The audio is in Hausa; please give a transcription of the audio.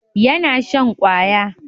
yana shan kwaya